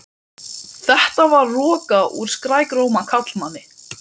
Íbúðin var í risinu á litlu tvíbýlishúsi við